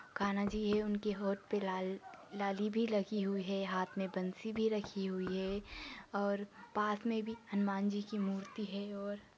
कान्हा जी है उनके होंठ पर लाल लाली भी लगी हुई है हाथ में बंसी भी रखी हुई है और पास में भी हनुमान जी की मूर्ति है और--